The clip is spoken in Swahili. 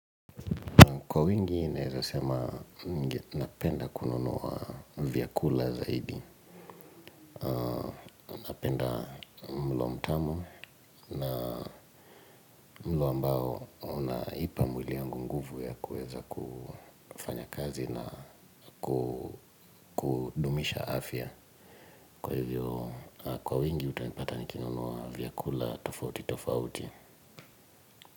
Kwa wingi, naeza sema napenda kununuwa vyakula zaidi. Napenda mlo mtamu na mlo ambao unaupa mwili wangu nguvu ya kueza kufanya kazi na kudumisha afya. Kwa hivyo, kwa wingi, utanipata nikinunuwa vyakula tofauti tofauti.